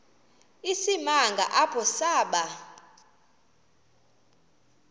isimanga apho saba